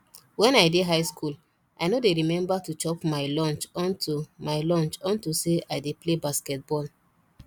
wen i dey high school i no dey remember to chop my lunch unto my lunch unto say i dey play basketball